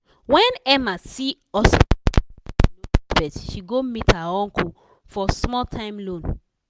when emma see hospital bill wey she nor expect she go meet her uncle for small time loan.